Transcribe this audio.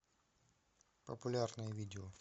популярные видео